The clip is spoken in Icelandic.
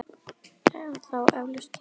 Þá efldust kynni okkar aftur.